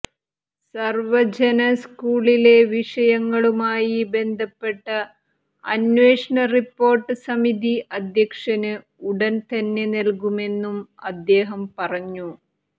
സർവജന സ്കൂളിലെ വിഷയങ്ങളുമായി ബന്ധപ്പെട്ട അന്വേഷണ റിപ്പോർട്ട് സമിതി അധ്യക്ഷന് ഉടൻതന്നെ നൽകുമെന്നും അദ്ദേഹം പറഞ്ഞു